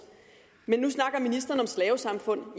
men nu snakker ministeren om slavesamfund